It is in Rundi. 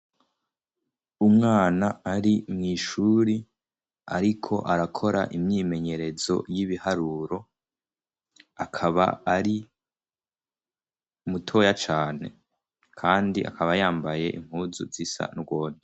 Umwana ari mwishuri ariko arakora imyimenyerezo y'ibiharuro, akaba ari mutoya cane kandi akaba yambaye impuzu zisa nurwondo.